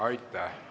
Aitäh!